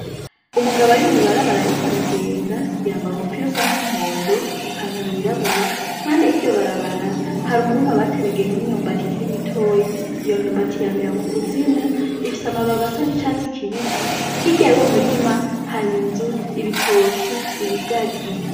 Umugabo ari mw'ibarabara, ariko aragenda yambaa umupirusa n'umuhondo ipantaro yirabura mande y'iryo barabara hari umurima abateragemwo imyumbati kirimitoyi yo myumbati yamira mu kuzimu ifise amababasa n'icatsi kibisi hiryaye uwo murima hari inzu ibitoki ibigazi.